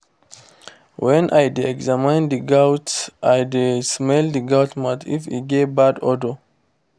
when i dey examine the goats i dey smell the goat mouth if e get bad odour